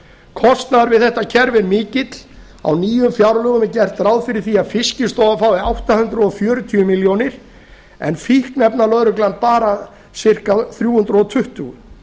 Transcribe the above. kostnaður við þetta kerfi er mikill á nýjum fjárlögum er gert ráð fyrir því að fiskistofa fái átta hundruð fjörutíu milljónir en fíkniefnalögreglan bara sirka þrjú hundruð tuttugu